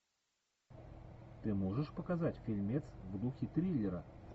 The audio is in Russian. ты можешь показать фильмец в духе триллера